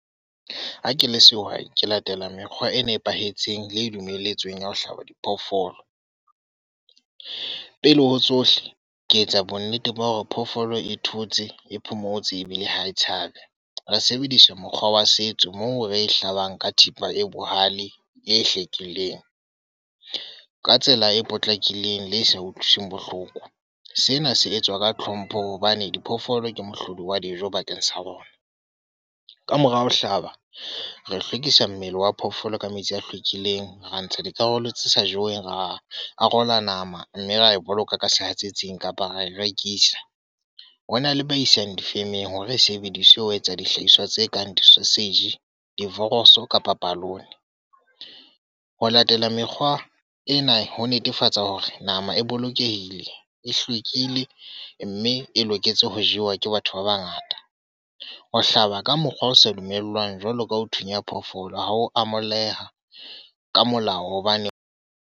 Ha ke le sehwai, ke latela mekgwa e nepahetseng le e dumeletsweng ya ho hlaba diphoofolo. Pele ho tsohle, ke etsa bonnete ba hore phoofolo e thotse, e phomotse, ebile ha e tshabe. Re sebedisa mokgwa wa setso moo re hlabang ka thipa e bohale, e hlwekileng. Ka tsela e potlakileng le e sa utlwiswa bohloko. Sena se etswa ka tlhompho hobane diphoofolo ke mohlodi wa dijo bakeng sa rona. Ka mora ho hlaba, re hlwekisa mmele wa phoofolo ka metsi a hlwekileng. Ra ntsha dikarolo tse sa jeweng, ra a arola nama mme ra e boloka ka sehatsetsing kapa ra e rekisa. Ho na le ba isang difemeng hore e sebediswe ho etsa dihlahiswa tse kang di-sausage, di-voroso kapa palony. Ho latela mekgwa ena ho netefatsa hore nama e bolokehile, e hlwekile mme e loketse ho jewa ke batho ba bangata. Ho hlaba ka mokgwa o sa dumellwang jwalo ka ho thunya phoofolo ha ho amoheleha ka molao hobane.